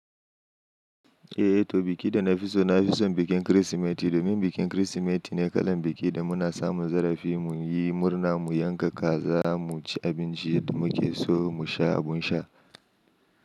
Eh, to biki da na fi so na fi son bikin Kirsimeti domin bikin Kirsimeti ne kalan biki da muna samun zarafi mu yi murna, mu yanka kaza, mu ci abinci da muke so, mu sha abin sha.